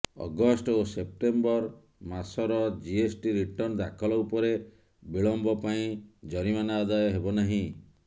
August ଓ September ମାସର GST return ଦାଖଲ ଉପରେ ବିଳମ୍ବ ପାଇଁ ଜରିମାନା ଆଦାୟ ହେବ ନାହିଁ